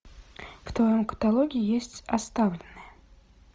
в твоем каталоге есть оставленные